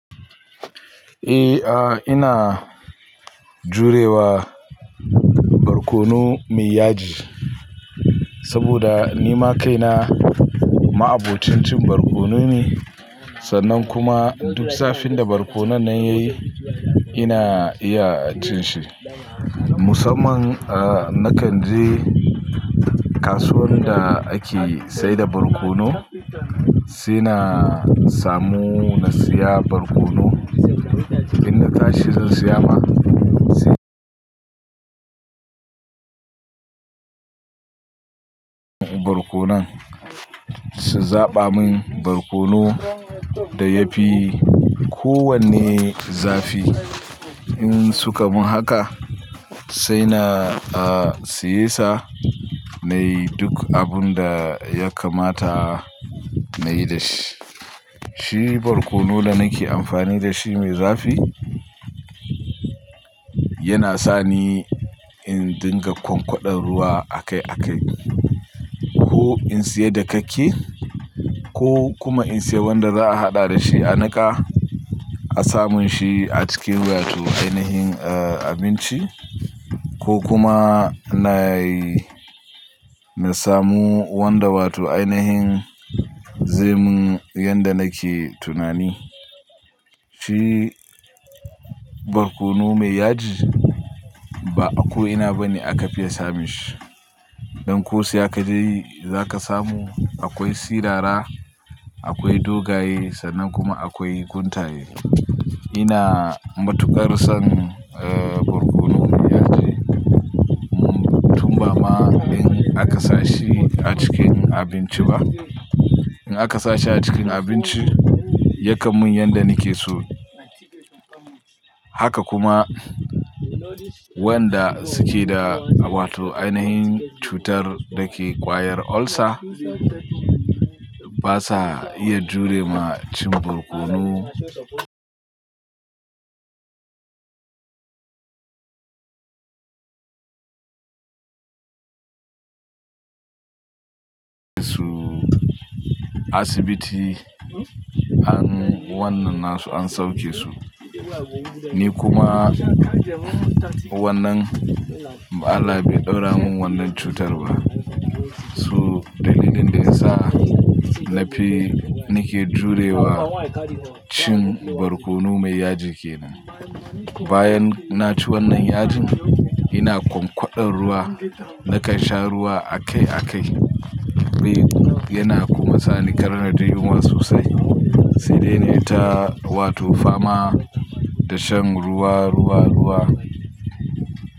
A ina jurewa barkono mai yaji saboda ni ma kaina ma abocinc in barkono ne, sannan kuma duk zafin da barkono nan yayi ina iya cin shi. Musamman nakan je kasuwan da ake saida barkono sai na samu na siya barkono. In na ka shi zan siya ma sai barkono su zaɓa mun barkono da yafi kowwane zafi. In suka mun haka sai na siye sa nayi duk abun da ya kamata nayi da shi. Shi barkono da nake amfani da shi mai zafi yana sani in dinga kwankwadan ruwa a kai a kai ko in siya dakake ko kuma in siya wanda za'a haɗa da shi a nika. A sa mun shi a cikin wato ainihin abinci ko kuma nayi na samu wanda wato ainahin zamin yanda nake tunani. Shi barkono mai yaji ba a ko'ina bane aka fiya samun shi. Dan ko sai ka je za ka samu akwai sirara, akwai dogaye sannan kuma akwai kuntaye. Ina matukar son barkono mai yaji tun ba ma in aka sashi a cikin abinci ba. In aka sashi a cikin abinci yakan mun yanda nake so. Haka kuma wanda suke da wato ainahin cutar dake kwayar ulcer basa iya jure ma cin barkono. Toh asibiti an wannan nasu an sauke su. Ni kuma wannan Allah bai ɗaura mun wannan cutar ba. Toh dalilin da yasa na fi nake jurewa cin barkono mai yaji kenan. Bayan naci wannan yajin ina kwankwadan ruwa nakan sha ruwa a kai a kai. Yana kuma sani kar na ji yunwa sosai, sai dai nayi ta wato fama da shan ruwa, ruwa, ruwa.